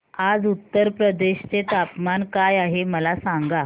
आज उत्तर प्रदेश चे तापमान काय आहे मला सांगा